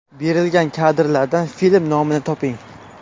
Berilgan kadrlardan film nomini toping.